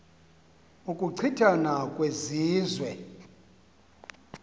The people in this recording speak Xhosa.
ukuchi thana kwezizwe